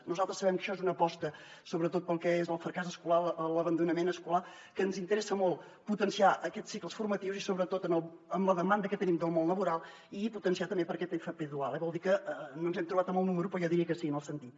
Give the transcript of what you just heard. nosaltres sabem que això és una aposta sobretot pel que és el fracàs escolar l’abandonament escolar que ens interessa molt potenciar aquests cicles formatius i sobretot amb la demanda que tenim del món laboral i potenciar també per a aquesta fp dual eh vol dir que no ens hem trobat amb el número però jo diria que sí en el sentit